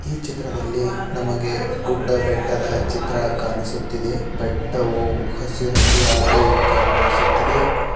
ಈ ಚಿತ್ರದಲ್ಲಿ ನಮಗೆ ಗುಡ್ಡ ಬೆಟ್ಟದ ಚಿತ್ರ ಕಾಣಿಸುತ್ತಿದೆ ಬೆಟ್ಟವು ಹಸಿರು ಹಸಿರಾಗಿ ಕಂಗೊಳಿಸುತ್ತಿದೆ.